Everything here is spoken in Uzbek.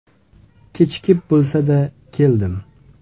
Kechikib bo‘lsa-da keldim.